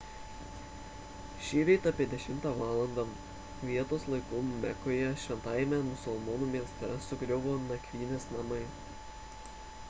šįryt apie 10 valandą vietos laiku mekoje šventajame musulmonų mieste sugriuvo nakvynės namai